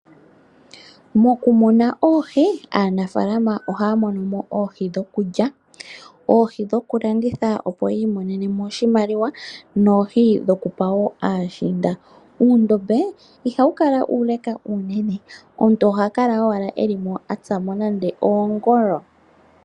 Mokumuna oohi aanafaalama ohaya monomo dhoku lya, dhoku landitha opo yi imonene mo oshimaliwa noku pa woo aashinda. Uundombe ihawu kala uule uunene ihe omuntu oha kala owala eli mo atsamo nande oongolo.